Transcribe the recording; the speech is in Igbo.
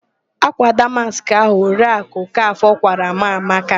Ákwà damaskị ahụ Oriakụ Okafọ kwaara m amaka.